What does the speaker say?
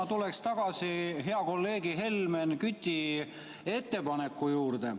Ma tuleks tagasi hea kolleegi Helmen Küti ettepaneku juurde.